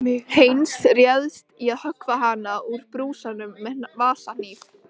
Heinz réðist í að höggva hana úr brúsanum með vasahnífi.